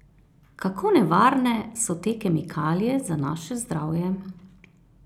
Kako nevarne so te kemikalije za naše zdravje?